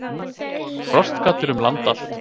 Frostgaddur um land allt